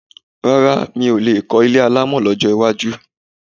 Rárá mi ò lè kọ́ ilé alámọ̀ lọ́jọ́ iwájú